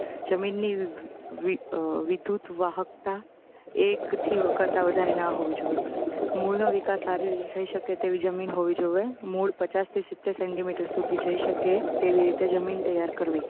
જમીનની વિ અઅઅ વિદ્યુત વાહકતા એક થી કરતાં વધારે ના હોવી જોઇએ મૂળનો વિકાસ સારી રીતે થઇ શકે તેવી જમીન હોવી જોવે મૂળ પચાસ થી સિત્તેર સેન્ટીમીટર સુધી જઇ શકે તેવી રીતે જમીન તૈયાર કરવી